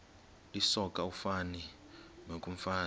lisoka ufani nokomfazi